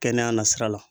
Kɛnɛya na sira la